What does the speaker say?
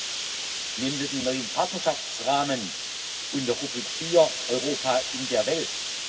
3 nehmen wir den neuen Partnerschaftsrahmen unter Rubrik 4 Europa in der Welt.